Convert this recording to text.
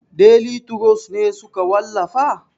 Deli turos ne suka wallafa?